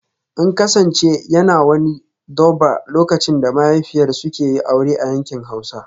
In kasance yana wani 'Durbar' lokacin da mahaifiyar suke yi aure a yankin Hausa